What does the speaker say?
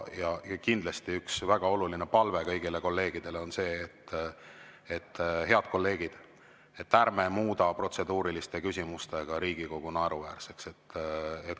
Ja kindlasti, üks väga oluline palve kõigile kolleegidele on see: head kolleegid, ärme muuda protseduuriliste küsimustega Riigikogu naeruväärseks.